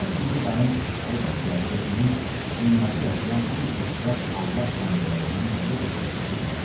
Dəx indi dayım əlbəttə özünü dünyada yaşayan ən xoşbəxt Allah bəndələrindən dəxi də xoşbəxt hesab eləyərdi.